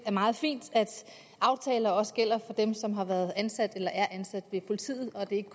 er meget fint at aftaler også gælder dem som har været ansat eller er ansat ved politiet og ikke